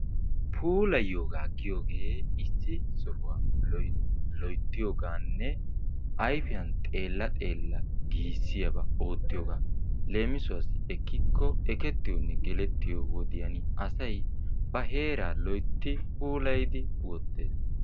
Puulayiyoogaa giyoogee issi sohuwaa loyttiyooganne ayfiyaan xeela xeela giisiyaaba oottiyoogaa. Leemisuwassi ekikko ekettiyo geletiyo wodiyaan asay ba heera loytti puulayddi wottees.